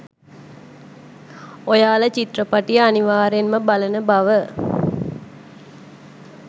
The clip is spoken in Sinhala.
ඔයාලා චිත්‍රපටය අනිවාර්යයෙන්ම බලන බව